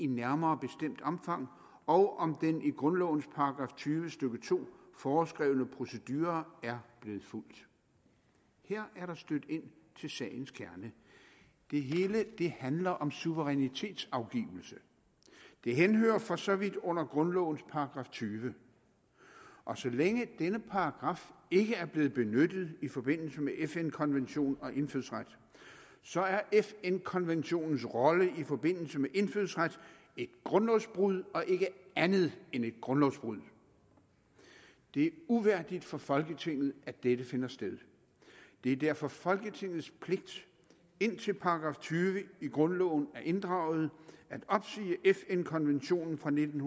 nærmere bestemt omfang og om den i grundlovens § tyve stykke to foreskrevne procedure er blevet fulgt her er der stødt ind til sagens kerne det hele handler om suverænitetsafgivelse det henhører for så vidt under grundlovens § tyve og så længe denne paragraf ikke er blevet benyttet i forbindelse med fn konventionen og indfødsret så er fn konventionens rolle i forbindelse med indfødsret et grundlovsbrud og ikke andet end et grundlovsbrud det er uværdigt for folketinget at dette finder sted det er derfor folketingets pligt indtil § tyve i grundloven er inddraget at opsige fn konventionen fra nitten